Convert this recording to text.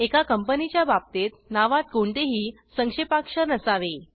एका कंपनीच्या बाबतीत नावात कोणतेही संक्षेपाक्षर नसावे